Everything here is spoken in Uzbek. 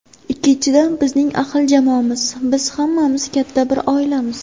Ikkinchidan, bizning ahil jamoamiz, biz hammamiz katta bir oilamiz.